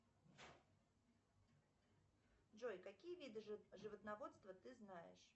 джой какие виды животноводства ты знаешь